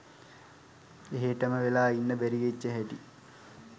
එහේටම වෙලා ඉන්න බැරි වෙච්ච හැටි